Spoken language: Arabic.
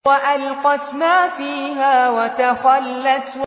وَأَلْقَتْ مَا فِيهَا وَتَخَلَّتْ